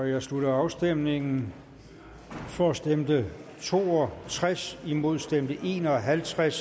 jeg slutter afstemningen for stemte to og tres imod stemte en og halvtreds